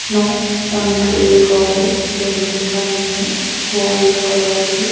no uncle लिखा है building बनी है वाइट कलर की--